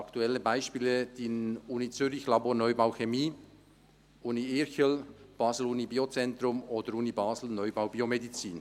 Aktuelle Beispiele: Universität Zürich-Irchel, Laborneubau Chemie, Universität Basel, Neubau Biozentrum sowie Neubau Biomedizin.